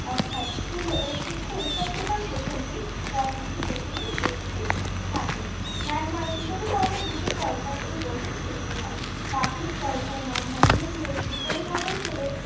অর্থাৎ স্থুল ও সুক্ষ উভয় প্রকার গ্রথনকেই গ্রথনের উপস্থিতি থাকে। ম্যাগমা শীতলী করণের দুটি পর্যায় এই গ্রথন সৃষ্টি হয়। প্রাথমিক পর্যায় ম্যাগমা ধিরে ধিরে শীতলী ভবন হলে